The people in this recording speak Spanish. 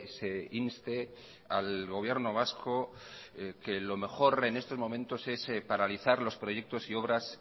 se inste al gobierno vasco que lo mejor en estos momentos es paralizar los proyectos y obras